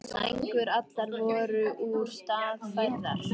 Sængur allar voru úr stað færðar.